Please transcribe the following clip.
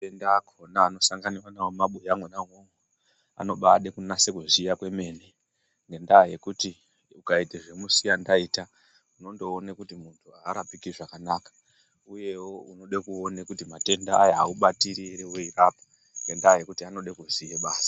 Matenda akona anosanganikwa nawo mumabuya mwona umwomwo anobada kunazaya kuziya kwemene ngendaa yekuti ukaita zvemusiya ndaita unondoona kuti muntu arapiki zvakanaka uyewo unoda kuona kuti matenda aya aubatiri ere weirapa ngendaa yekuti anoda kuziya basa.